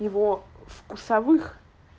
его вкусовых